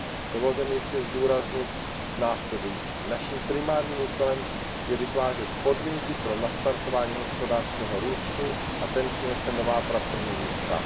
Dovolte mi ještě zdůraznit následující naším primárním úkolem je vytvářet podmínky pro nastartování hospodářského růstu, a ten přinese nová pracovní místa.